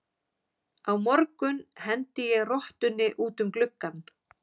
Á morgun hendi ég rottunni út um gluggann.